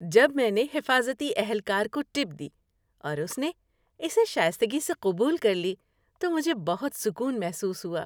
جب میں نے حفاظتی اہلکار کو ٹپ دی اور اس نے اسے شائستگی سے قبول کر لی تو مجھے بہت سکون محسوس ہوا۔